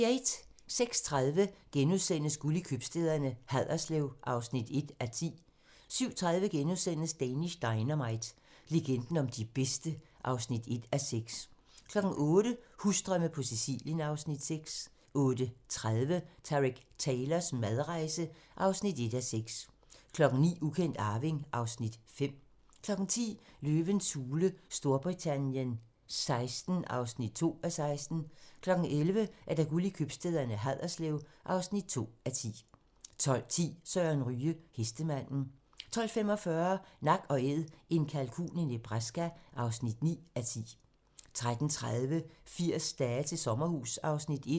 06:30: Guld i købstæderne: Haderslev (1:10)* 07:30: Danish Dynamite - legenden om de bedste (1:6)* 08:00: Husdrømme på Sicilien (Afs. 6) 08:30: Tareq Taylors madrejse (1:6) 09:00: Ukendt arving (Afs. 5) 10:00: Løvens hule Storbritannien XVI (2:16) 11:00: Guld i købstæderne - Haderslev (2:10) 12:10: Søren Ryge: Hestemanden 12:45: Nak & Æd - en kalkun i Nebraska (9:10) 13:30: 80 dage til sommerhus (Afs. 1)